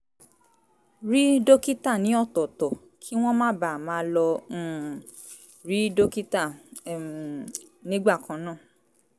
rí dókítà ní ọ̀tọ̀ọ̀tọ̀ kí wọ́n má baà máa lọ um rí dókítà um nígbà kan náà